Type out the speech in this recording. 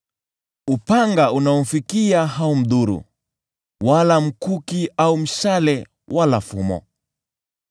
Upanga unaomfikia haumdhuru, wala mkuki au mshale wala fumo.